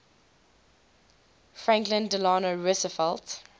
franklin delano roosevelt